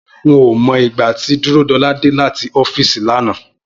N ò mo̩ ìgbà tí Dúródo̩lá dé láti ó̩fíìsì lánàá